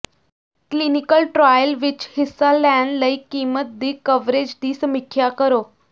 clinical trial ਵਿਚ ਹਿੱਸਾ ਲੈਣ ਲਈ ਕੀਮਤ ਦੀ ਕਵਰੇਜ ਦੀ ਸਮੀਖਿਆ ਕਰੋ